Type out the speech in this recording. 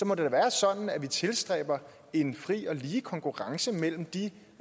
må det da være sådan at vi tilstræber en fri og lige konkurrence mellem de